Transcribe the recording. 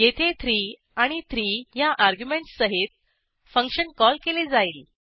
येथे 3 आणि 3 ह्या अर्ग्युमेंटस सहित फंक्शन कॉल केले जाईल